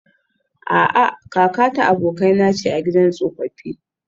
A'a, kakata abokaina ce a gidan tsofaffi